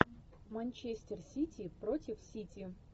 манчестер сити против сити